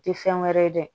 Tɛ fɛn wɛrɛ ye dɛ